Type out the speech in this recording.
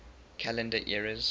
calendar eras